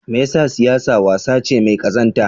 Me yasa siyasa wasa ce mai kazanta?